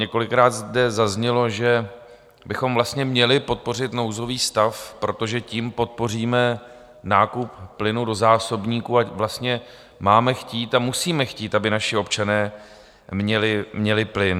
Několikrát zde zaznělo, že bychom vlastně měli podpořit nouzový stav, protože tím podpoříme nákup plynu do zásobníků, a vlastně máme chtít a musíme chtít, aby naši občané měli plyn.